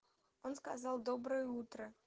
он сказал доброе утро